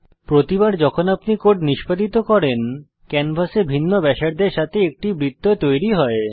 প্রতিবার যখন আপনি কোড নিষ্পাদিত করেন ক্যানভাসে ভিন্ন ব্যাসার্ধের সাথে একটি বৃত্ত তৈরী হয়